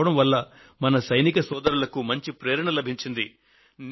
ఇది మన సోదరులలో ఒక నైతిక ఉత్తేజాన్ని ప్రసాదించినట్లుగా రుజువు అవుతోంది